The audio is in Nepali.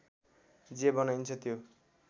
जे बनाइन्छ त्यो